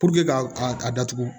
k'a a datugu